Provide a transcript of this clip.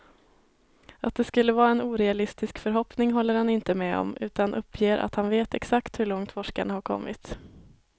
Att det skulle vara en orealistisk förhoppning håller han inte med om, utan uppger att han vet exakt hur långt forskarna har kommit.